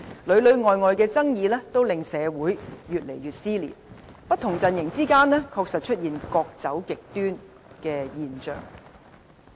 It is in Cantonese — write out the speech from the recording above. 裏裏外外的爭議都令社會越來越撕裂，不同陣營之間，確實出現各走極端的現象。